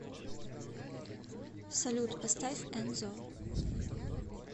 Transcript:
салют поставь энзо